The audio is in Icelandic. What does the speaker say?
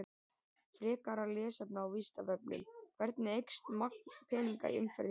Frekara lesefni á Vísindavefnum: Hvernig eykst magn peninga í umferð í heiminum?